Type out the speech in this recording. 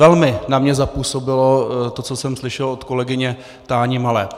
Velmi na mě zapůsobilo to, co jsem slyšel od kolegyně Táni Malé.